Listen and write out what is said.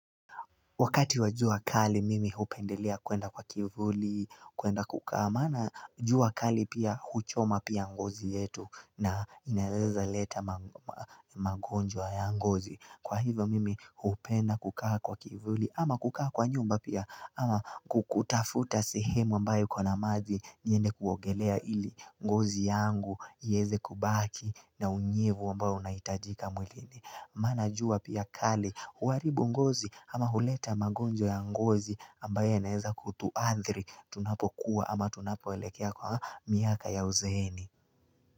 Wakati wa jua kali mimi hupendelea kuenda kwa kivuli, kuenda kukaa, maana jua kali pia huchoma pia ngozi yetu na inaeza leta magonjwa ya ngozi. Kwa hivyo mimi hupenda kukaa kwa kivuli ama kukaa kwa nyumba pia ama kutafuta sihemu ambae iko na maji niende kuogelea ili ngozi yangu ieze kubaki na unyevu ambao unaitajika mwilini. Mana jua pia kali, huharibu ngozi ama huleta magonjwa ya ngozi ambayo yanaeza kutuathri, tunapokuwa ama tunapoelekea kwa miaka ya uzeeni.